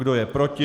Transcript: Kdo je proti?